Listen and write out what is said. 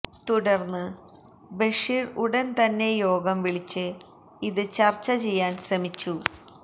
തുടര്ന്ന് ബഷീര് ഉടന് തന്നെ യോഗം വിളിച്ച് ഇത് ചര്ച്ച ചെയ്യാന് ശ്രമിച്ചു